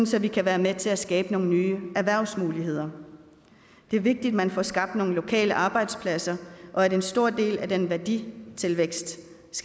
så vi kan være med til at skabe nogle nye erhvervsmuligheder det er vigtigt at man får skabt nogle lokale arbejdspladser og at en stor del af den værditilvækst